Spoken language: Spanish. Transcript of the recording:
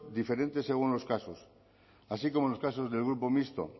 diferentes según los casos así como en los casos del grupo mixto